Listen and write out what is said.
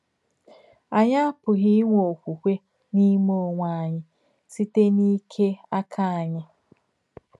Ányị̀ àpùghí ínwè òkwùkwè n’ímè ònwè ányị̀ sịtè n’íkè àkà ányị̀.